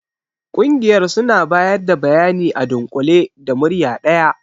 Ƙungiyar suna bayar da bayani a dunkule da murya daya.